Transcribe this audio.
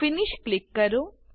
finish finish click કરો